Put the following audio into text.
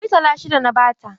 Murtala shida na ba ta.